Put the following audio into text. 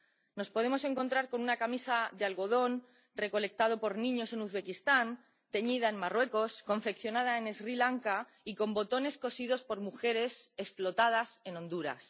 Nos podemos encontrar con una camisa de algodón recolectado por niños en Uzbekistán, teñida en Marruecos, confeccionada en Sri Lanka y con botones cosidos por mujeres explotadas en Honduras.